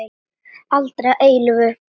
Aldrei að eilífu.